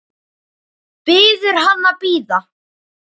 Biður hann að bíða.